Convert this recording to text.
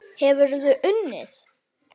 Hefurðu unnið?